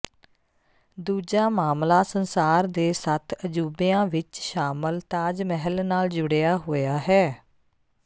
ਦੂਜਾ ਮਾਮਲਾ ਸੰਸਾਰ ਦੇ ਸੱਤ ਅਜੂਬਿਆਂ ਵਿੱਚ ਸ਼ਾਮਲ ਤਾਜ ਮਹਿਲ ਨਾਲ ਜੁੜਿਆ ਹੋਇਆ ਹੈ